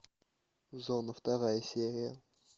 зона вторая серия